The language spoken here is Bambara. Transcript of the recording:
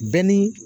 Bɛɛ ni